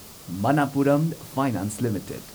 Manappuram finance limited